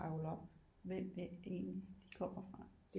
Trævle op hvem er det egentlig de kommer fra